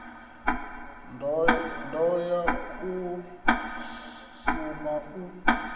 ḓo ya u suma u